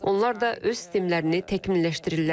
Onlar da öz sistemlərini təkmilləşdirirlər.